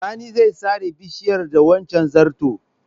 Sani zai sare bishiyar da wancen zarton.